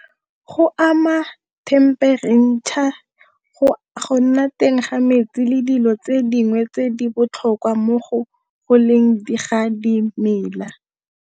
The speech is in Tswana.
Go ama themperetšha, go nna teng ga metsi, le dilo tse dingwe tse di botlhokwa mo go goleng di ga dimela.